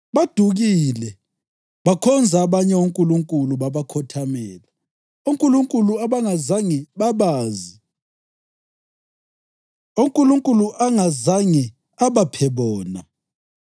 Badukile bakhonza abanye onkulunkulu babakhothamela, onkulunkulu abangazange babazi, onkulunkulu angazange abaphe bona.